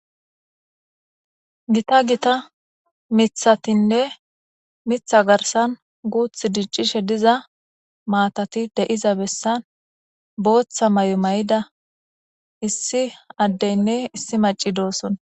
Gita gita mithatinne mitha garsan guuth diccishe diza maatati de7iza bessan booththa may7o may7ida issi addeynne issi maci dooson.